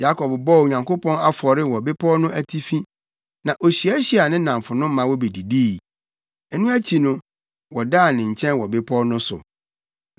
Yakob bɔɔ Onyankopɔn afɔre wɔ bepɔw no atifi, na ohyiahyiaa ne nnamfonom ma wobedidii. Ɛno akyi no, wɔdaa ne nkyɛn wɔ bepɔw no so.